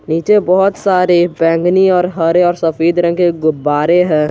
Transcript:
नीचे बहोत सारे बैंगनी और हरे और सफेद रंग के गुब्बारे हैं।